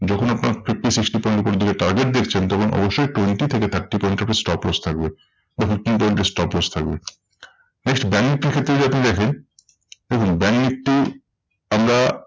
যখন আপনার fifty sixty point উপরের দিকে target দেখছেন তখন অবশ্যই twenty থেকে thirty point এর উপরে stop loss থাকবে দেখুন stop loss থাকবে। next ব্যাঙ্ক নিফটির ক্ষেত্রে যদি আপনি দেখেন, দেখুন ব্যাঙ্ক নিফটি আমরা